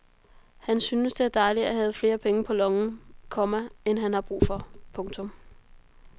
Han syntes det er dejligt at have flere penge på lommen, komma end han har brug for. punktum